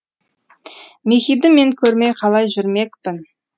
мехиді мен көрмей қалай жүрмекпін